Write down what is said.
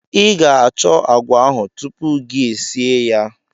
I ga-achọ agwa ahụ tupu gi esie ya.